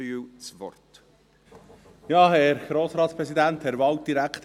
Ich gebe Samuel Krähenbühl das Wort.